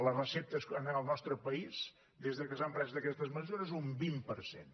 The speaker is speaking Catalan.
les receptes en el nostre país des que s’han pres aquestes mesures un vint per cent